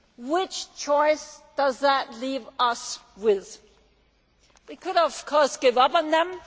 What choice does that leave us with? We could of course give up on them.